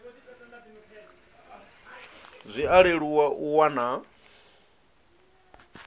zwi a leluwa u wana